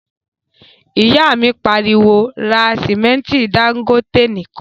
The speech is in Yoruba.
ìyá mi pariwo, 'ra sìmẹ́ntí Dangote nìkan'